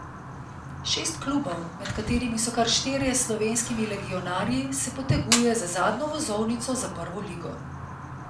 Šest klubov, med katerimi so kar štirje s slovenskimi legionarji, se poteguje za zadnjo vozovnico za prvo ligo.